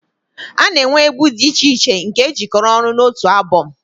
A na-enwe egwu dị iche iche nke e jikọrọ ọnụ n'otu abọm